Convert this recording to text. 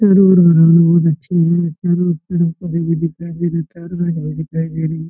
दिखाई दे रहा है।